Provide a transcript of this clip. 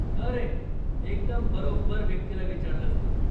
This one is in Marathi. अरे, एकदम बरोब्बर व्यक्तीला विचारलंस तू.